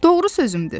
Doğru sözümdür.